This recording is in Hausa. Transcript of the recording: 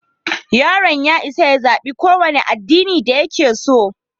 Yaron ya isa ya zaɓi ƙowane addinin da yake so.